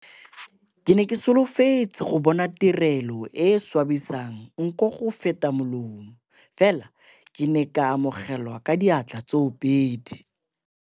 "Ke ne ke solofetse go bona tirelo e e swabisang nko go feta molomo, fela ke ne ka amogelwa ka diatla tsoopedi."